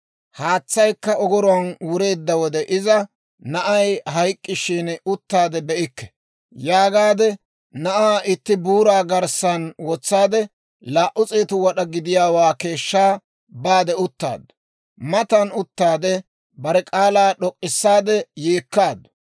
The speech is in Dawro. Haatsaykka ogoruwaan wureedda wode iza, «Na'ay hayk'k'ishin, uttaade be'ikke» yaagaade, na'aa itti buuraa garssan wotsaade, laa"u s'eetu wad'aa gidiyaawaa keeshshaa baade uttaaddu. Matan uttaade, bare k'aalaa d'ok'k'issaade yeekkaaddu.